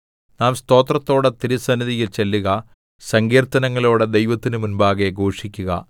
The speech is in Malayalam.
നാം സ്തോത്രത്തോടെ തിരുസന്നിധിയിൽ ചെല്ലുക സങ്കീർത്തനങ്ങളോടെ ദൈവത്തിന്റെ മുമ്പാകെ ഘോഷിക്കുക